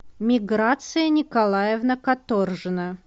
миграция николаевна каторжина